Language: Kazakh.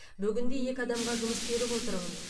бүгінде екі адамға жұмыс беріп отырмын